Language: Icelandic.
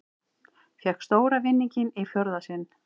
Fékk stóra vinninginn í fjórða sinn